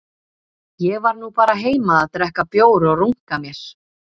Ég var nú bara heima að drekka bjór og runka mér